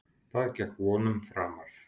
Það gekk vonum framar.